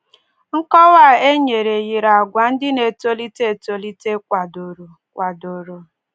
Nkọwa a e nyere yiri àgwà ndị na-etolite etolite kwadoro. kwadoro.